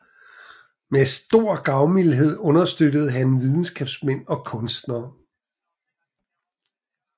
Med stor gavmildhed understøttede han videnskabsmænd og kunstnere